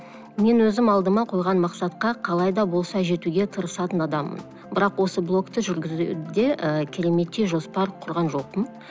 мен өзім алдыма қойған мақсатқа қалай да болса жетуге тырысатын адаммын бірақ осы блогты жүргізуде і кереметтей жоспар құрған жоқпын